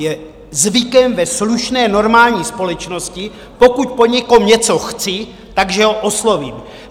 Je zvykem ve slušné normální společnosti, pokud po někom něco chci, že ho oslovím.